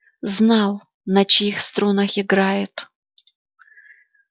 знал на чьих струнах играет